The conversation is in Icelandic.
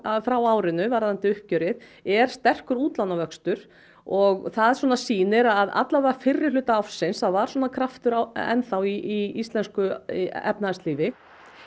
frá árinu varðandi uppgjörið er sterkur útlánavöxtur og það svona sýnir að alla vega fyrri hluta ársins það var svona kraftur enn þá í íslensku efnahagslífi